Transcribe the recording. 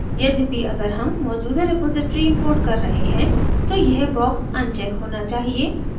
यद्यपि अगर हम मौजूदा रेपॉज़िटरी importing कर रहे हैं तो यह box अनचेक होना चाहिए